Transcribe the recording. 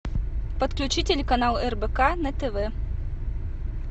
подключи телеканал рбк на тв